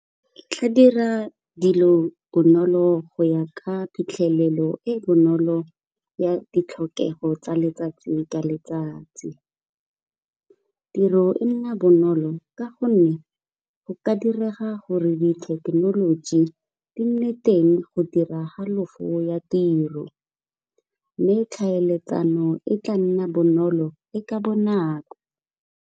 E tla dira dilo bonolo go ya ka phitlhelelo e e bonolo ya ditlhokego tsa letsatsi ka letsatsi. Tiro e nna bonolo ka gonne go ka direga gore di thekenoloji di nne teng go dira halofo ya tiro mme tlhaeletsano e tla nna bonolo e ka bonako.